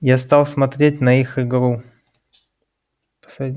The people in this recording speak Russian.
я стал смотреть на их игру